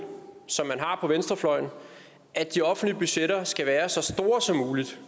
som man har på venstrefløjen at de offentlige budgetter skal være så store som muligt